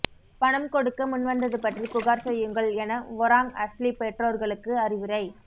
பணம் கொடுக்க முன் வந்தது பற்றி புகார் செய்யுங்கள் என ஒராங் அஸ்லி பெற்றோர்களுக்கு அறிவுரை